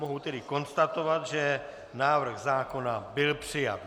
Mohu tedy konstatovat, že návrh zákona byl přijat.